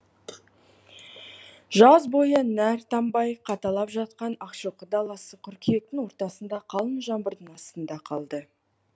іііжаз бойы нәр тамбай қаталап жатқан ақшоқы даласы қыркүйектің ортасында қалың жаңбырдың астында қалды